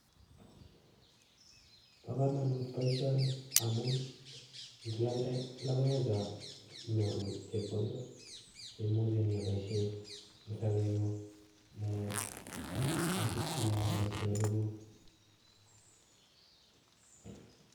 Bokomonut boishoni amun ing'alde lokoechon inyoru chepkondok cheimuche inyoiboishen eng' sobeng'ung eeh anan siyaen boishonikuk.